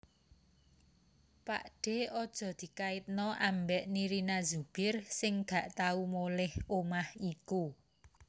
Pakdhe ojo dikaitno ambek Nirina Zubir sing gak tau moleh omah iku